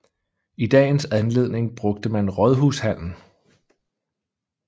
I dagens anledning brugte man Rådhushallen